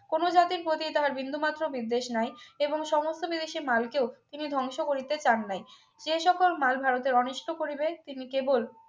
কোন জাতির প্রতি তাহার বিন্দুমাত্র বিদ্বেষ নাই এবং সমস্ত বিদেশী মালকেও তিনি ধ্বংস করিতে চান নাই যে সকল মাল ভারতের অনিষ্ঠ পরিবেশ তিনি কেবল